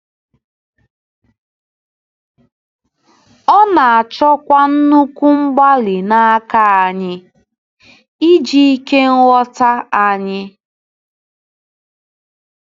Ọ na-achọkwa nnukwu mgbalị n’aka anyị, iji “ike nghọta” anyị.